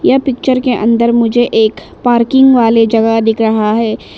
यह पिक्चर के अंदर मुझे एक पार्किंग वाली जगह दिख रहा है।